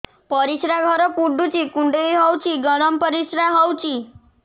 ପରିସ୍ରା ଘର ପୁଡୁଚି କୁଣ୍ଡେଇ ହଉଚି ଗରମ ପରିସ୍ରା ହଉଚି